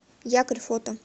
якорь фото